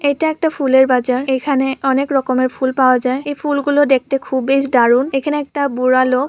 এটা একটা ফুলের বাজার। এখানে অনেক রকমের ফুল পাওয়া যায়। এই ফুলগুলো দেখতে খুব বেশ দারুণ। এখানে একটা বুড়ালোক।